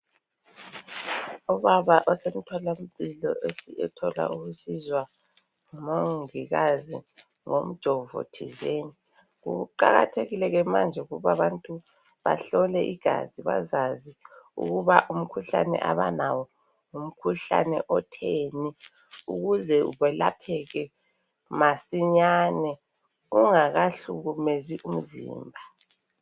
Obaba usesithola mpilo sethola ukusizwa ngumongikazi ngomjovo thizeni .Kuqakathekile ke manje ukuba abantu bahlole igazi ukuze baz azi ukuba umkhuhlane abanawo ngumkhuhlane otheni ukuze welapheke masinyane ungakahlukumezi umzimba.